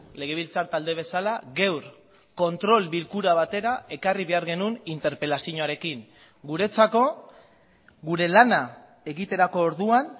legebiltzar talde bezala gaur kontrol bilkura batera ekarri behar genuen interpelazioarekin guretzako gure lana egiterako orduan